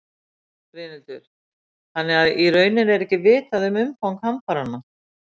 Brynhildur: Þannig að í rauninni er ekki vitað um umfang hamfaranna?